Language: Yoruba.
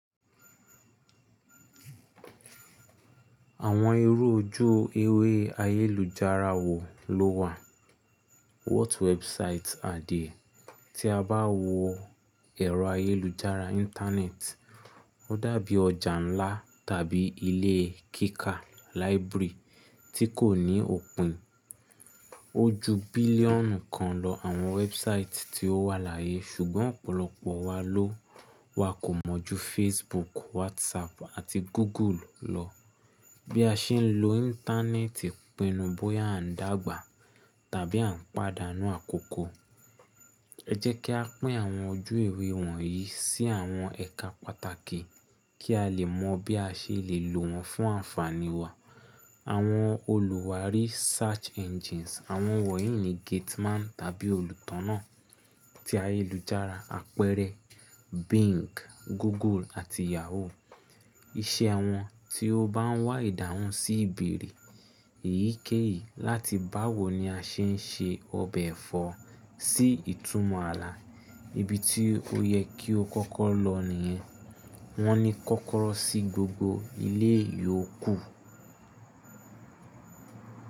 Àwọn irú ojú ewé ayélujára wo ló wà? What websites are there? Tí a bá wo ẹ̀rọ ayélujára Íńtánẹ́ẹ̀tì, ó dàbí ọjà ńlá tàbí ilé kíkà library tí kò ní òpin. O ju bílíọ̀nù kan lọ àwọn wẹ́ẹ́busáìtì tí ó wà láyé ṣùgbọ́n ọ̀pọ̀lọpọ̀ wa ló wakò mọ̀ ju Facebook, WhatsApp àti Google lọ. Bí a ṣe ń lo Íńtánẹ́ẹ̀tì pinnu bóyá à ń dàgbà tàbí à ń pàdánù àkókò. Ẹ jẹ́ kí a pín àwọn ojú ewé wọ̀nyí sí àwọn ẹ̀ka pàtàkì kí a lè mọ bí a ṣe lè lò wọ́n fún ànfàní wa. Àwọn olùwádìí search engines, àwọn wọ̀nyí ni gate man tàbí olùtọ̀nà ti ayélujára apẹ̀rẹ̀ Bing, Google àti Yahoo. Iṣẹ́ wọn tí ó bá ń wá ìdáhùn sí ìbẹ̀rẹ̀ èyíkéyìí láti báwo ni a ṣe ń ṣe ọbẹ̀ ẹ̀fọ́ sí ìtumọ̀ ààlà. Ibi tí ó yẹ kí o kọ́kọ́ lọ nìyẹn. Wọ́n ní kọ́kọ́rọ́ sí gbogbo ilé ìyókù.